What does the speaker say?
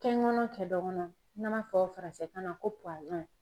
Kɛ n kɔnɔ kɛ dɔ kɔnɔ n'an m'a fɔ farasɛkan na ko